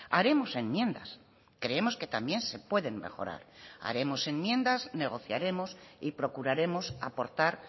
haremos enmiendas creemos que también se pueden mejorar haremos enmiendas negociaremos y procuraremos aportar